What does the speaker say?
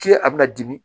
K'i a bɛna dimi